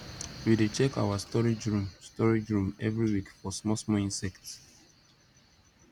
we dey check our storage room storage room every week for small small insects